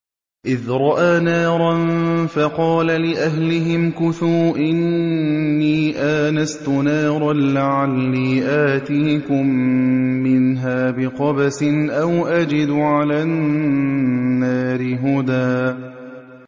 إِذْ رَأَىٰ نَارًا فَقَالَ لِأَهْلِهِ امْكُثُوا إِنِّي آنَسْتُ نَارًا لَّعَلِّي آتِيكُم مِّنْهَا بِقَبَسٍ أَوْ أَجِدُ عَلَى النَّارِ هُدًى